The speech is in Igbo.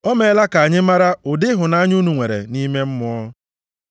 O meela ka anyị mara ụdị ịhụnanya unu nwere nʼime Mmụọ.